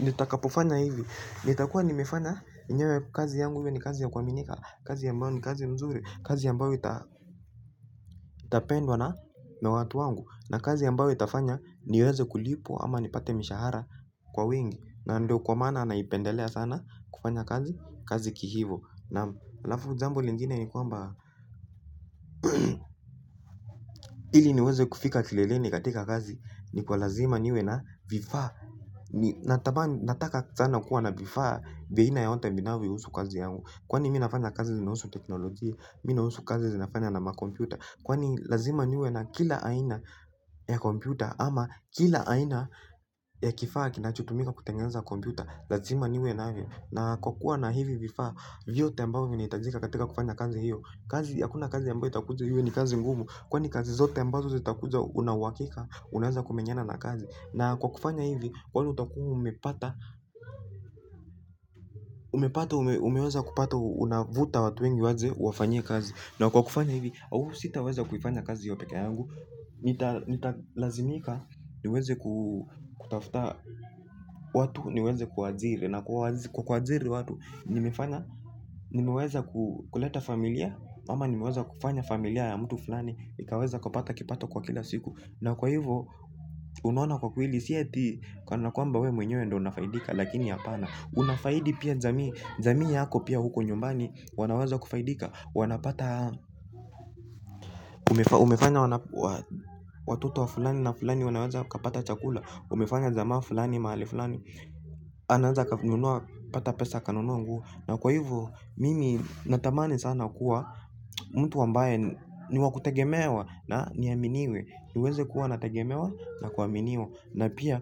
nitakapofanya hivi nitakua nimefanya enyewe kazi yangu iwe ni kazi ya kuaminika, kazi ambayo ni kazi mzuri kazi ambayo ita tapendwa na watu wangu na kazi ambayo itafanya niweze kulipwa ama nipate mishahara kwa wingi na ndo kwa maana naipendelea sana kufanya kazi kihivo naam, halafu jambo lingine ni kwamba ili niweze kufika kileleni katika kazi ni kwa lazima niwe na vifaa. Nataka sana kuwa na vifaa vya aina yoyote vinavyohusu kazi yangu kazi yangu, kwani mi nafanya kazi zinahusu teknolojia, mi nahusu kazi zinafanya na makompyuta kwani lazima niwe na kila aina ya kompyuta ama kila aina ya kifaa kinachotumika kutengeneza kompyuta, lazima niwe navyo, na kwa kuwa na hivi vifaa vyote ambavyo vinahitajika katika kufanya kazi hiyo, kazi hakuna kazi ambayo itakuja iwe ni kazi ngumu, kwani kazi zote ambazo zitakuja una uhakika unaweza kumenyana na kazi na kwa kufanya hivi kweli utakua umepata. Umepata umeweza kupata unavuta watu wengi waje uwafanyie kazi. Na kwa kufanya hivi au sitaweza kuifanya kazi hiyo peke yangu. Nitalazimika niweze kutafuta watu niweze kuwaajiri na kwa kuajiri watu nimefanya nimeweza kuleta familia ama nimeweza kufanya familia ya mtu fulani ikaweza kupata kipato kwa kila siku. Na kwa hivo unaona kwa kweli si eti kana kwamba we mwenyewe ndo unafaidika, lakini hapana unafaidi pia jamii, jamii yako pia huko nyumbani wanaweza kufaidika wanapata. Umefanya watoto wa fulani na fulani wanaweza wakapata chakula. Umefanya jamaa fulani mahali fulani anaweza pata pesa akanunua nguo, na kwa hivo mimi natamani sana kuwa mtu ambaye ni wa kutegemewa na niaminiwe. Niweze kuwa nategemewa na kuaminiwa na pia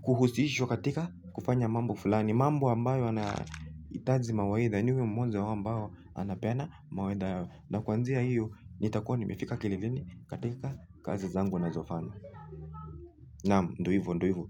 kuhusishwa katika kufanya mambo fulani, mambo ambayo yanahitaji mawaidha, niwe mmoja wa ambao anapeana mawaidha yao. Na kwanzia hiyo nitakua nimefika kileleni katika kazi zangu nazofanya. Naam, ndo hivo, ndo hivo.